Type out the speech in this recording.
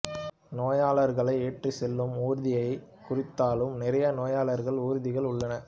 நோயாளர்களை ஏற்றிச்செல்லும் ஊர்தியையே குறித்தாலும் நிறைய நோயாளர் ஊர்திகள் உள்ளன